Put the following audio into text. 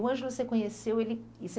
O Ângelo você conheceu e você